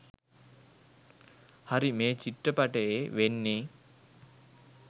හරි මේ චිත්‍රපටයේ වෙන්නේ